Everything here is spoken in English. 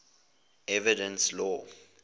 evidence law